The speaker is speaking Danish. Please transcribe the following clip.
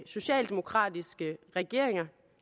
socialdemokratiske regeringer